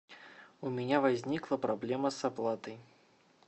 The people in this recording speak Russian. у меня возникла проблема с оплатой